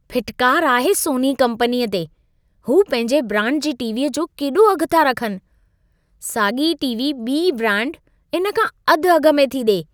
फिटकार आहे सोनी कम्पनीअ ते! हू पंहिंजे ब्रांड जी टी.वी. जो केॾो अघु था रखनि। साॻी टी.वी. ॿिई ब्रांड इन खां अधु अघ में थी ॾिए।